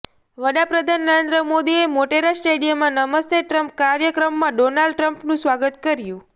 વડાપ્રધાન નરેન્દ્ર મોદીએ મોટેરા સ્ટેડિયમમાં નમસ્તે ટ્રમ્પ કાર્યક્રમમાં ડોનાલ્ડ ટ્રમ્પનું સ્વાગત કર્યું